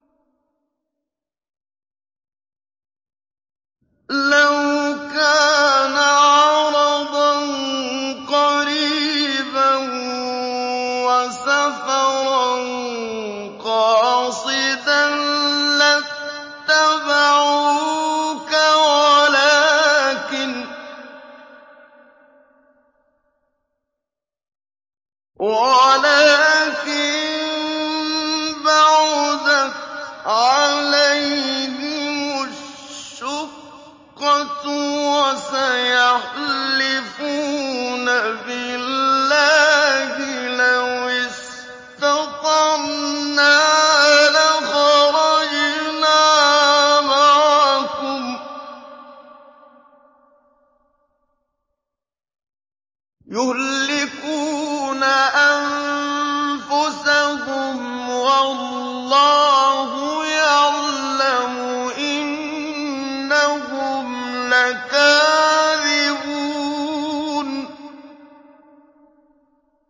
لَوْ كَانَ عَرَضًا قَرِيبًا وَسَفَرًا قَاصِدًا لَّاتَّبَعُوكَ وَلَٰكِن بَعُدَتْ عَلَيْهِمُ الشُّقَّةُ ۚ وَسَيَحْلِفُونَ بِاللَّهِ لَوِ اسْتَطَعْنَا لَخَرَجْنَا مَعَكُمْ يُهْلِكُونَ أَنفُسَهُمْ وَاللَّهُ يَعْلَمُ إِنَّهُمْ لَكَاذِبُونَ